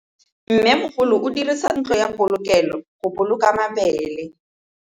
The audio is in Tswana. Mmêmogolô o dirisa ntlo ya polokêlô, go boloka mabele.